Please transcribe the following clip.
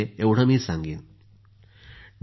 Modi ji Dr